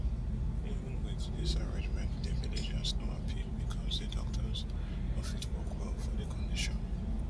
even wit dis arrangement di villagers no happy becos di doctors no fit work well for di condition